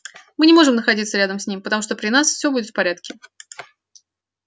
мы не можем находиться рядом с ним потому что при нас всё будет в порядке